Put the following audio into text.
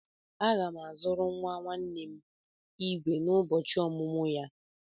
Aga m azụrụ nwa nwanne m igwe n'ụbọchị ọmụmụ ya.